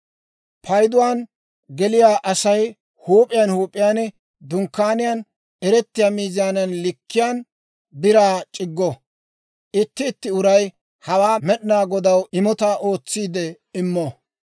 Payduwaan geliyaa Asay huup'iyaan huup'iyaan Dunkkaaniyaan eretiyaa miizaanaa likkiyaan Biraa c'iggo. Itti itti uray hawaa Med'inaa Godaw imotaa ootsiidde immo.